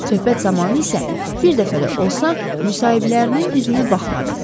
Söhbət zamanı isə bir dəfə də olsa müsahiblərinin üzünə baxmadı.